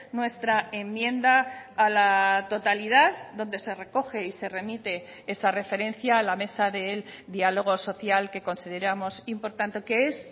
nuestra enmienda a la totalidad donde se recoge y se remite esa referencia a la mesa del diálogo social que consideramos importante que es